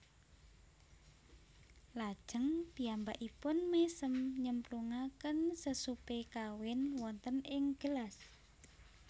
Lajeng piyambakipun mésem nyemplungaken sesupé kawin wonten ing gelas